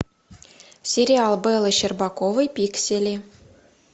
сериал беллы щербаковой пиксели